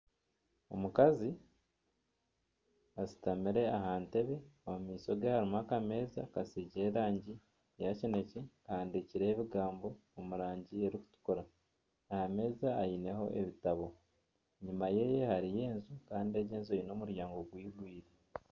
Omukazi ashutamire aha ntebe. Omu maisho ge harimu akameeza kasiigire erangi ya kinekye kahandikireho ebigambo omu rangi erikutukura. Aha meeza aineho ebitabo, enyima yeye hariyo enju kandi egi enju eine omuryango gwigwire.